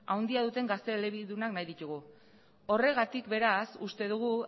handia duten gazte elebidunak nahi ditugu horregatik beraz uste dugu